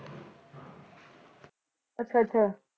ਅੱਛਾ ਅੱਛਾ